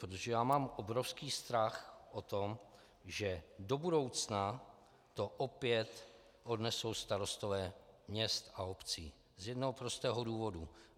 Protože já mám obrovský strach o to, že do budoucna to opět odnesou starostové měst a obcí z jednoho prostého důvodu.